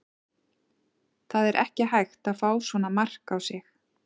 Það er ekki hægt að fá svona mark á sig.